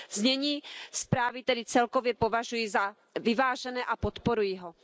Znění zprávy tedy celkově považuji za vyvážené a podporuji ho.